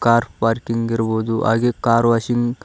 car parking ಇರಬಹುದು ಹಾಗೆ car washing --